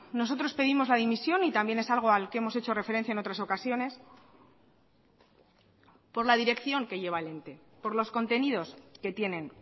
nosotros pedimos la dimisión y también es algo al que hemos hecho referencia en otras ocasiones por la dirección que lleva el ente por los contenidos que tienen